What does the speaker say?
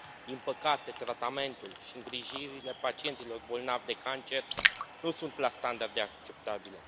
Din păcate, tratamentul și îngrijirile pacienților bolnavi de cancer nu sunt la standarde acceptabile.